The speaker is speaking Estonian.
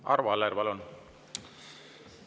Arvo Aller, palun!